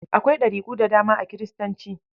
Akwai ɗariku da dama a Kiristanci.